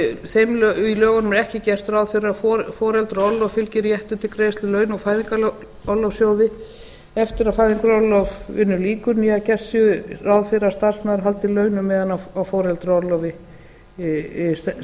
í lögunum er ekki gert ráð fyrir að foreldraorlofi fylgi réttur til greiðslu launa úr fæðingarorlofssjóði eftir að fæðingarorlofi lýkur né að gert sé ráð fyrir að starfsmaður haldi launum meðan á foreldraorlofi stendur